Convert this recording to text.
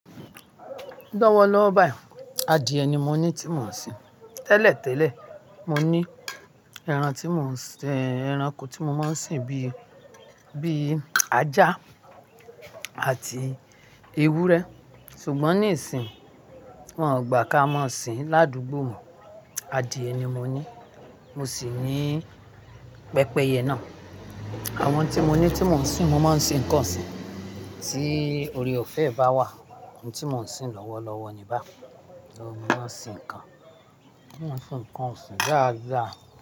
Lọ́wọ́lọ́wọ́ báyìí adìẹ ni mo ní tí mò ń sìn. Tẹ́lẹ̀tẹ́lẹ̀, mo ní ẹran tí mò ń sìn, ẹranko tí mo máa ń sìn bíi, bíi ajá àti ewúrẹ́. Ṣùgbọ́n nísìínyi wọ́n ò gbà kí a máa sìn. Ládugbó mo, adìẹ ni mo ní, mo sì ní pẹpẹyẹ náà. Àwọn tí mo ní tí mò ń sìn, mo máa ń sìn nǹkan òsìn. Tí oore-ọ̀fẹ́ bá wà, ohun tí mò ń sìn lọ́wọ́lọ́wọ́ ni bá, mo máa ń sìn nǹkan. Mo máa ń sìn nǹkan òsìn gáá gáá.